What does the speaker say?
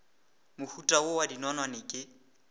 mohuta wo wa dinonwane ke